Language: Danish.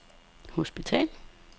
hospital